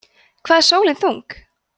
hvað er sólin þung